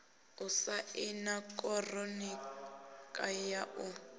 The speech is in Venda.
u saina konṱiraka ya u